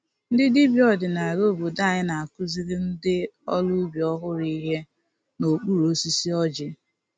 Ndị dibịa ọdinala obodo anyị na-akụziri ndị ọrụ ubi ọhụrụ ihe n’okpuru osisi ọjị.